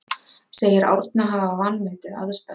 Segir Árna hafa vanmetið aðstæður